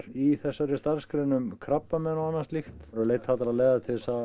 í þessari starfsgrein um krabbamein og annað slíkt leita allra leiða til þess að